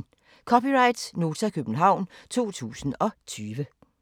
(c) Nota, København 2020